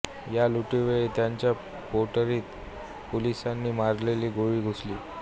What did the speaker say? या लुटीवेळी त्यांच्या पोटरीत पोलिसांनी मारलेली गोळी घुसली